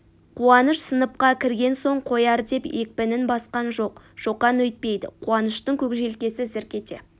қуаныш сыныпқа кірген соң қояр деп екпінін басқан жоқ шоқан өйтпеді қуаныштың көк желкесі зірк ете